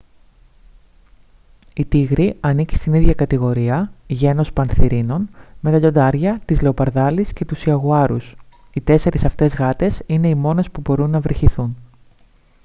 η τίγρη ανήκει στην ίδια κατηγορία γένος πανθηρίνων με τα λιοντάρια τις λεοπαρδάλεις και τους ιαγουάρους. οι τέσσερις αυτές γάτες είναι οι μόνες που μπορούν να βρυχηθούν